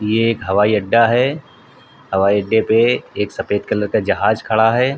ये एक हवाईअड्डा है। हवाईअड्डे पे एक सफ़ेद कलर का जहाज खड़ा है।